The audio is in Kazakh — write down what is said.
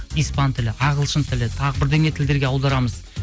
испан тілі ағылшын тілі тағы бірдеңе тілдерге аударамыз